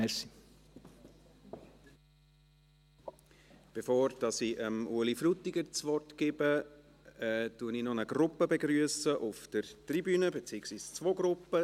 Bevor ich Ueli Frutiger das Wort gebe, begrüsse ich noch eine Gruppe auf der Tribüne, beziehungsweise zwei Gruppen.